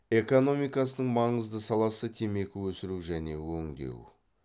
экономикасының маңызды саласы темекі өсіру және өңдеу